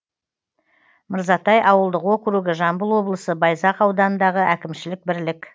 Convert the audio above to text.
мырзатай ауылдық округі жамбыл облысы байзақ ауданындағы әкімшілік бірлік